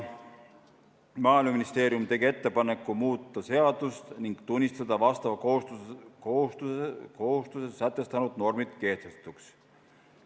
Maaeluministeerium tegi ettepaneku muuta seadust ning tunnistada vastava kohustuse sätestanud normid kehtetuks.